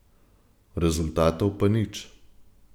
Rezultatov pa nič.